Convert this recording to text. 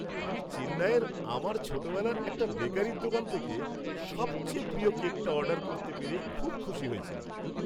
আমি চেন্নাইয়ে আমার ছোটোবেলার একটা বেকারির দোকান থেকে সবচেয়ে প্রিয় কেকটা অর্ডার করতে পেরে খুব খুশি হয়েছিলাম।